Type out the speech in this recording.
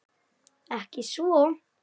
Ekki svo.